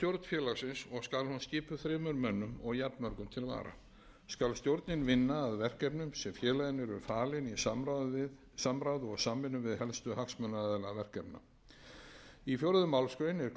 félagsins og skal hún skipuð þremur mönnum og jafnmörgum til vara skal stjórnin vinna að verkefnum sem félaginu eru falin í samráði og samvinnu við helstu hagsmunaaðila verkefna í fjórðu málsgrein er kveðið á um að